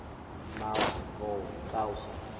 melk wol pelse